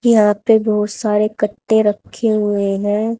यहां पे बहुत सारे कट्टे रखे हुए हैं।